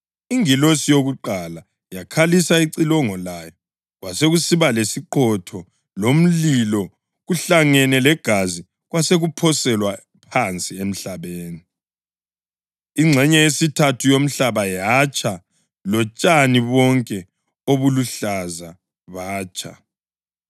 Ingilosi yokuqala yakhalisa icilongo layo kwasekusiba lesiqhotho lomlilo kuhlangene legazi kwasekuphoselwa phansi emhlabeni. Ingxenye yesithathu yomhlaba yatsha lotshani bonke obuluhlaza batsha.